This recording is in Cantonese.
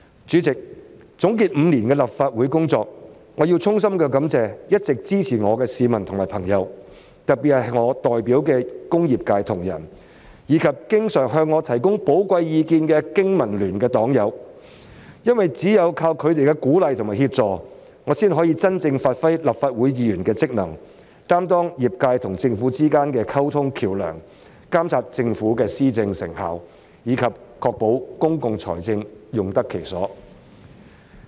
主席，總結5年的立法會工作，我要衷心感謝一直支持我的市民和朋友，特別是我代表的工業界同仁，以及經常向我提供寶貴意見的經民聯黨友，因為只有藉着他們的鼓勵和協助，我才可以真正發揮立法會議員的職能，擔當業界和政府之間的溝通橋樑，監察政府的施政成效，以及確保公共財政用得其所。